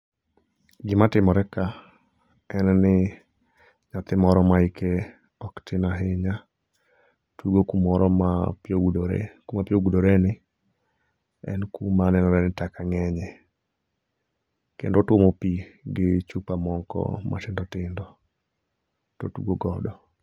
Gimatimore ka, en ni nyathimoro ma hike oktin ahinya , tugo kumoro ma pi ogodore, kumapi ogudoreni en kuma nenore ni taka ng'enye kendo otwomo pi gi chupa moko matindo tindo to otugo godo.